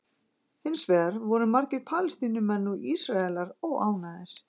Hins vegar voru margir Palestínumenn og Ísraelar óánægðir.